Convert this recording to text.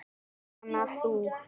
Jóhanna: Þú?